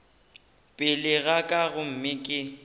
pele ga ka gomme ke